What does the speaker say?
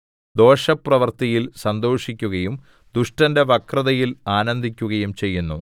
ദോഷപ്രവൃത്തിയിൽ സന്തോഷിക്കുകയും ദുഷ്ടന്റെ വക്രതയിൽ ആനന്ദിക്കുകയും ചെയ്യുന്നു